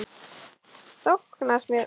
Þóknast mér?